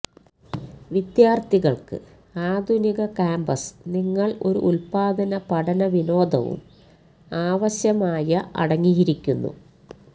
വിദ്യാർത്ഥികൾക്ക് ആധുനിക കാമ്പസ് നിങ്ങൾ ഒരു ഉൽപാദന പഠന വിനോദവും ആവശ്യമായ അടങ്ങിയിരിക്കുന്നു